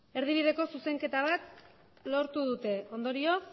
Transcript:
erdibideko zuzenketa bat lortu dute ondorioz